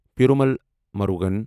Perumal مُرغن